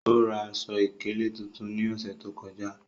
O ra aṣọ-ikele tuntun ni ọṣẹ to kọja.